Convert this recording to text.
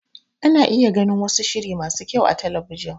Ana iya gani wasu shiri masu kyau a talabijin.